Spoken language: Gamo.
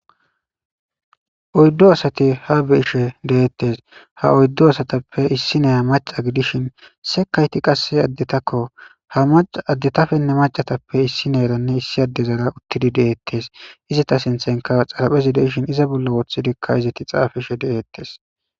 oyddo asati ha beishe deettes ha oyddo asatappe issi neya maca gidishin se kayti qasse addetakko ha maca addetafenne macatappe issineeranne issi addezara uttidi deeettes izata sinthanka xaraphezi deishin iza bolla woothidikka izati xaafishe deeettes